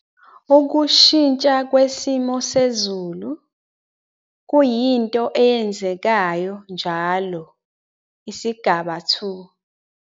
Ukushintsha kwesimo sezulu - kuyinto eyenzekayo njalo, isigaba 2.